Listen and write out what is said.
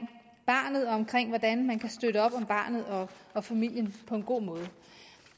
barnet og omkring hvordan man kan støtte op om barnet og familien på en god måde